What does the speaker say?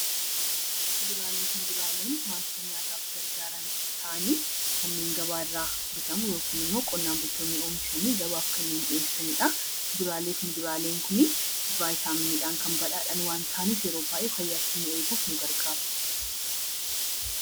Kuduraalee fu muduraaleen wantoota nyaataaf gargaaran ta'anii kanneen gabaa irraa bitamu yookiin immoo qonnaan bultoonni oomishanii gabaaf kan dhiyeessani dha. Kuduraaleef muduraaleen kuni Vaayitaaminii dhaan kan badhaadhan waan ta'aniif yeroo baay'ee fayyaa keenya eeguuf nu gargaaru.